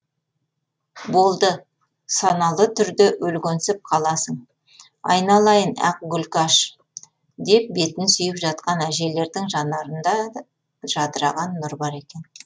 болды саналы түрде өлгенсіп қаласың айналайын ақ гүлкаш деп бетін сүйіп жатқан әжелердің жанарында жадыраған нұр бар екен